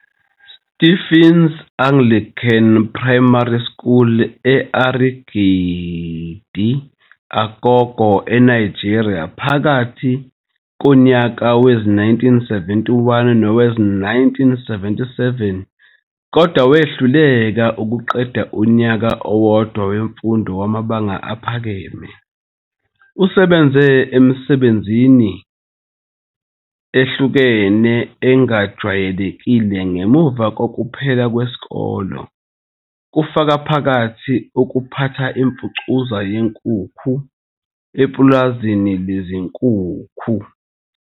Stephen's Anglican Primary School e-Arigidi Akoko, eNigeria, phakathi konyaka we-1971 nowe-1977, kodwa wehluleka ukuqeda unyaka owodwa wemfundo yamabanga aphakeme.. Usebenze emisebenzini ehlukahlukene engajwayelekile ngemuva kokuphela kwesikole, kufaka phakathi ukuphatha imfucuza yenkukhu epulazini lezinkukhu.